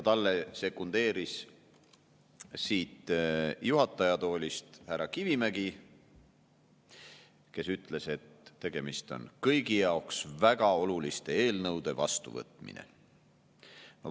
Talle sekundeeris siit juhataja toolist härra Kivimägi, kes ütles, et tegemist on kõigi jaoks väga oluliste eelnõude vastuvõtmisega.